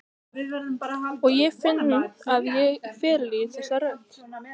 Og ég finn að ég fyrirlít þessa rödd.